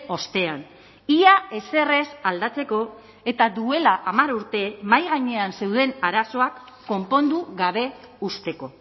ostean ia ezer ez aldatzeko eta duela hamar urte mahai gainean zeuden arazoak konpondu gabe uzteko